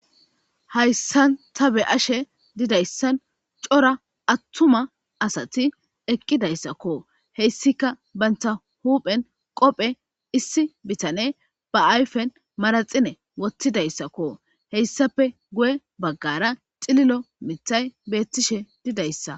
Hayssan ta be ashe didayssan cora attuma asati eqqidayssakko heyssika banta huphen qophe issi bitane ba ayfen maraxine wottidayssakko heyssape guye baggara xililo mithay beettishe didayssa.